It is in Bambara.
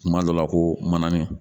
Kuma dɔ la ko manani